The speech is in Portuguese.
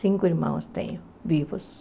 Cinco irmãos tenho vivos.